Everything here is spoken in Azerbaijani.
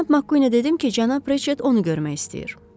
Cənab Makkuinə dedim ki, cənab Reçet onu görmək istəyir.